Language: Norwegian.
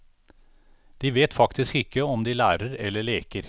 De vet faktisk ikke om de lærer eller leker.